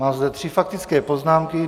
Mám zde tři faktické poznámky.